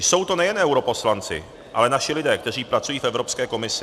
Jsou to nejen europoslanci, ale naši lidé, kteří pracují v Evropské komisi.